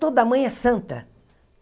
Toda mãe é santa.